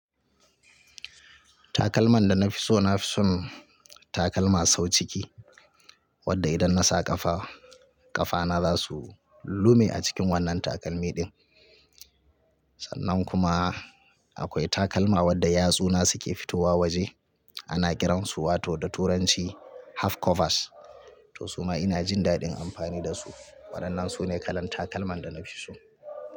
Takalman da na fi so na fi son takalma sau ciki wadda idan na sa ƙafa, ƙafana za su lume a cikin wannan takalmi ɗin. Sannan kuma akwai takalma wadda yatsuna suke fitowa waje ana kiransu wato da turanci half covers. To su ma ina jin daɗin amfani da su waɗannan sune kalan takalman da na fi so.